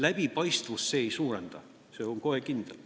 Läbipaistvust see ei suurenda, see on kohe kindel.